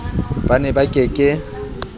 ba ne ba ke ke